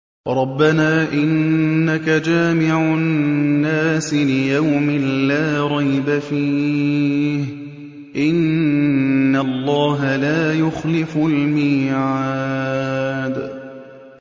رَبَّنَا إِنَّكَ جَامِعُ النَّاسِ لِيَوْمٍ لَّا رَيْبَ فِيهِ ۚ إِنَّ اللَّهَ لَا يُخْلِفُ الْمِيعَادَ